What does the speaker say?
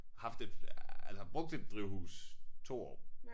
Haft et ja altså brugt et drivhus 2 år